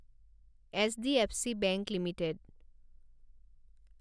HDFC bank limited